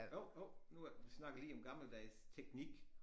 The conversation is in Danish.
Jo jo nu er vi snakkede lige om gammeldags teknik